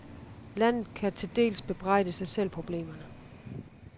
Landet kan til dels bebrejde sig selv problemerne.